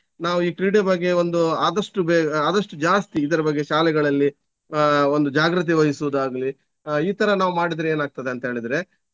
ನಾವು ಈ ಕ್ರೀಡೆ ಬಗ್ಗೆ ಒಂದು ಆದಷ್ಟು ಬೇಗ ಆಹ್ ಆದಷ್ಟು ಜಾಸ್ತಿ ಇದರ ಬಗ್ಗೆ ಶಾಲೆಗಳಲ್ಲಿ ಆಹ್ ಒಂದು ಜಾಗ್ರತೆ ವಹಿಸುದಾಗ್ಲಿ ಆಹ್ ಈ ತರ ನಾವು ಮಾಡಿದ್ರೆ ಏನಾಗ್ತದಂತೇಳಿದ್ರೆ.